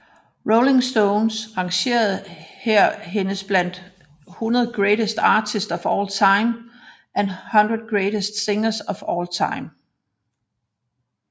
Rolling Stone rangerede hendes blandt 100 Greatest Artists of All Time og 100 Greatest Singers of All Time